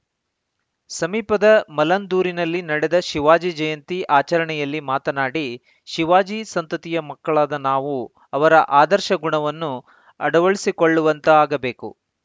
ಸಮಿಪದ ಮಲ್ಲಂದೂರಿನಲ್ಲಿ ನಡೆದ ಶಿವಾಜಿ ಜಯಂತಿ ಆಚರಣೆಯಲ್ಲಿ ಮಾತನಾಡಿ ಶಿವಾಜಿ ಸಂತತಿಯ ಮಕ್ಕಳಾದ ನಾವು ಅವರ ಆದರ್ಶ ಗುಣವನ್ನು ಅಡವಳಿಸಿಕೊಳ್ಳುವಂತಾಗಬೇಕು